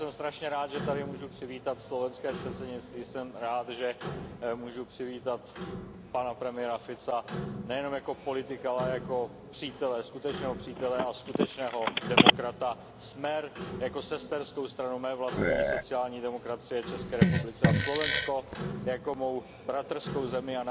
Já jsem strašně rád, že tady můžu přivítat slovenské předsednictví. Jsem rád, že můžu přivítat pana premiéra Fica nejenom jako politika, ale i jako přítele, skutečného přítele a skutečného demokrata, SMER jako sesterskou stranu mé vlastní sociální demokracie v České republice a Slovensko jakou mou bratrskou zemi.